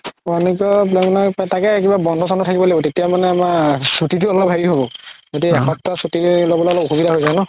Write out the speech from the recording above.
one week ৰ plan বনাই তাকেই কিবা বন্ধো চন্ধো থাকিব লাগিব তেতিয়া মানে আমাৰ চুতিও অলপ হেৰি হ'ব গতিকে এসপ্তাহ চুতি ল'বলৈ অলপ অসুবিধা হয় যাই ন